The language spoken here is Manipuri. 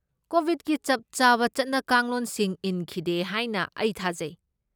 ꯀꯣꯚꯤꯗꯀꯤ ꯆꯞꯆꯥꯕ ꯆꯠꯅ ꯀꯥꯡꯂꯣꯟꯁꯤꯡ ꯏꯟꯈꯤꯗꯦ ꯍꯥꯏꯅ ꯑꯩ ꯊꯥꯖꯩ꯫